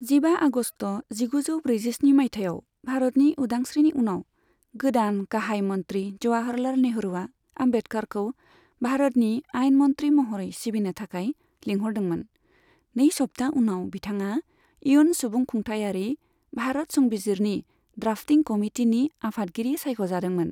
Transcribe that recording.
जिबा आगस्त जिगुजौ ब्रैजिस्नि माइथायाव भारतनि उदांस्रीनि उनाव, गोदान गाहाय मन्त्रि जवाहरलाल नेहरूआ आम्बेडकारखौ भारतनि आइन मन्त्रि महरै सिबिनो थाखाय लिंहरदोंमोन, नै सप्ता उनाव, बिथाङा इयुन सुबुंखुंथायारि भारत संबिजिरनि द्राफ्टिं कमिटिनि आफादगिरि सायख'जादोंमोन।